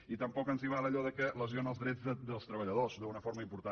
i tampoc ens val allò que lesiona els drets dels treballadors d’una forma important